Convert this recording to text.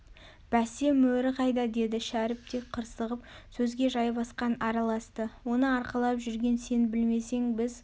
бәсе мөрі қайда деді шәріп те қырсығып сөзге жайбасқан араласты оны арқалап жүрген сен білмесең біз